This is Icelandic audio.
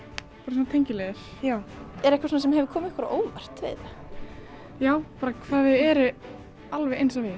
bara svona tengiliðir er eitthvað sem hefur komið ykkur á óvart já hvað þau eru alveg eins og við